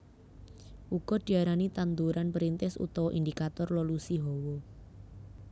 Uga diarani tanduran perintis utawa indikator lolusi hawa